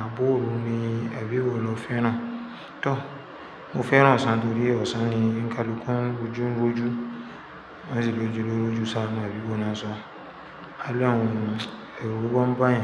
àbo òru ni ẹbí wo lọ féràn. Tán, mo féràn ọ̀sán torí ọ̀sán ni ńkalúkùn lojú ń rojú. Máṣe lójú lórójú sára, ẹbí náà sọ. Àlọ́ àwọn èrò bá ń báyẹn.